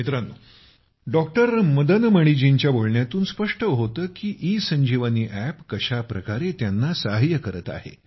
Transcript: मित्रांनो डॉक्टर मदन मणिजींच्या बोलण्यातून स्पष्ट होतं की इ संजीवनी अप कशा प्रकारे त्यांना सहाय्य करत आहे